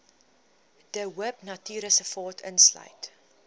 de hoopnatuurreservaat insluit